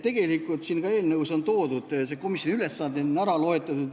Tegelikult on siin eelnõus ka komisjoni ülesanded ära toodud.